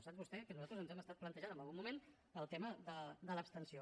sap vostè que nosaltres ens hem estat plantejant en algun moment el tema de l’abstenció